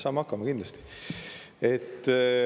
Saame hakkama, kindlasti.